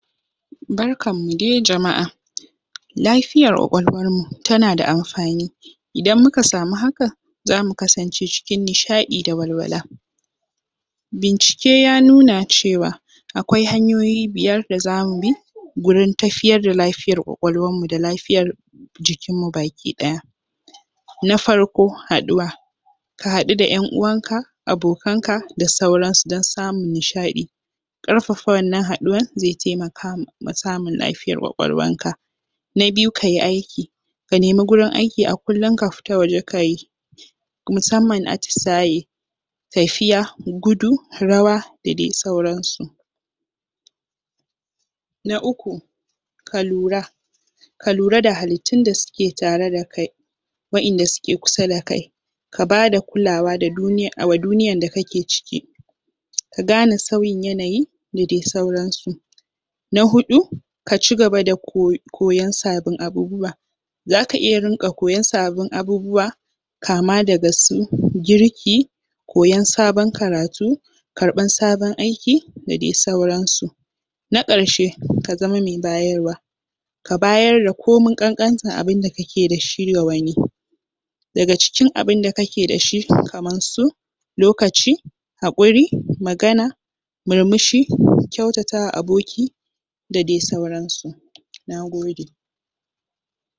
Barkanmu dai jama’a, lafiyar ƙwaƙwalwarmu tana da amfani idan muka samu hakan zamu kasance cikin nishaɗi da walwala bincike ya nuna cewa akwai hanyoyi biyar da zamu bi gurin tafiyar da lafiyar ƙwaƙwalwarmu da lafiyar jikinmu baki ɗaya Na farko haɗuwa ka haɗu da ƴan uwanka, abokanka da sauransu don samun nishaɗi ƙarfafa wannan haɗuwan zai taimaka ma samun lafiyan ƙwaƙwalwanka Na biyu ka yi aiki, ka nemi gurin aiki a kullum ka fita waje ka yi musamman atisaye tafiya, gudu, rawa da daidai sauransu na uku ka lura ka lura da halittun da suke tare da kai wa’inda suke kusa da kai ka bada kulawa da duniyan ka ke ciki ka gane sauyin yanayi da dai sauransu Na huɗu, ka cigaba da koyon sabbin abubuwa zaka iya rinƙa koyon sabbin abubuwa kama daga su girki koyon sabon karatu karɓan sabon aiki da dai sauransu Na ƙarshe, ka zama me bayarwa ka bayar da komi ƙanƙantar abin da ka ke da shi ga wani, daga cikin abin da ka ke da shi kaman su lokaci haƙuri, magana murmushi, kyautatawa aboki da dai sauransu, nagode